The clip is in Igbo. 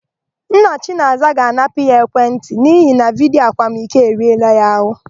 Nna Chinaza ga-anapụ ya ekwentị n'ihi na vidiyo akwamiko eriela ya àhụ́.